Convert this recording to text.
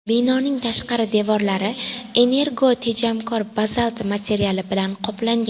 Binoning tashqi devorlari energotejamkor bazalt materiali bilan qoplangan.